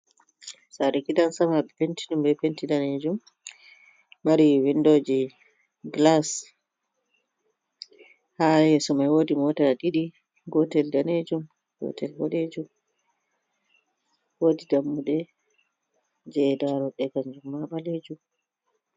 Saare gidan sama ɓe penti ɗum be penti daneejum, mari windoji gilas haa yeeso mai woodii mota ɗiɗi gotel daneejum, gotel bodejum, woodi dammude je daaroɗɗe kanjum maa ɓaleejum.